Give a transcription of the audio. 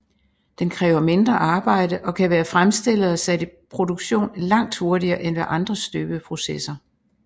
Den kræver mindre arbejde og kan være fremstillet og sat i produktion langt hurtigere end ved andre støbeprocesser